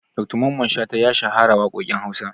Dr mamman shata ya shahara waƙoƙin Hausa.